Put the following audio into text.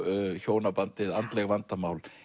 hjónabandið andleg vandamál